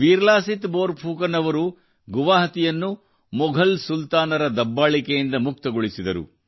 ವೀರ ಲಾಸಿತ್ ಬೋರ್ ಫುಕನ್ ಅವರು ಗುವಾಹಟಿಯನ್ನು ಮೊಘಲ್ ಸುಲ್ತಾನರ ದಬ್ಬಾಳಿಕೆಯಿಂದ ಮುಕ್ತಗೊಳಿಸಿದರು